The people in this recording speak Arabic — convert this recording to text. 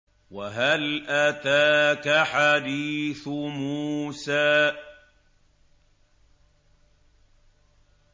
وَهَلْ أَتَاكَ حَدِيثُ مُوسَىٰ